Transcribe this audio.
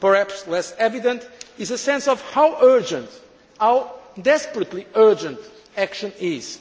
Perhaps less evident is a sense of how urgent, how desperately urgent, action